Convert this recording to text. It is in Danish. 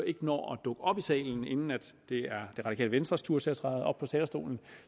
ikke når at dukke op i salen inden det er det radikale venstres tur til at træde op på talerstolen